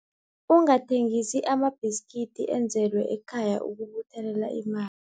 Ungathengisa amabhiskidi enzelwe ekhaya ukubuthelela ima